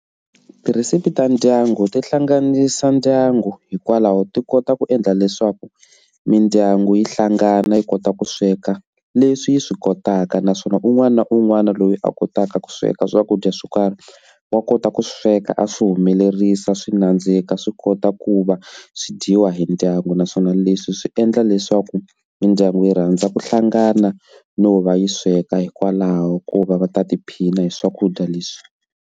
Tirhesipi ta ndyangu ti hlanganisa ndyangu hikwalaho ti kota ku endla leswaku mindyangu yi hlangana yi kota ku sweka leswi yi swi kotaka naswona un'wana na un'wana loyi a kotaka ku sweka swakudya swo karhi wa kota ku sweka a swi humelerisa swi nandzika swi kota ku va swi dyiwa hi ndyangu naswona leswi swi endla leswaku mindyangu yi rhandza ku hlangana no va yi sweka hikwalaho ko va va ta tiphina hi swakudya leswi.